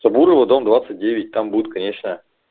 собурова дом двадцать девять там будет конечная